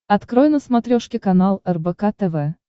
открой на смотрешке канал рбк тв